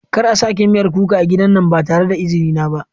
Kar a sake miyan kuka a gidan nan ba tare da izini na ba.